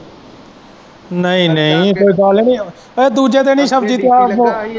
ਨਹੀਂ-ਨਹੀਂ ਕੋਈ ਗੱਲ ਨੀ ਇਹ ਦੂਜੇ ਦਿਨ ਹੀ ਸ਼ਬਜੀ ਪਿਆ।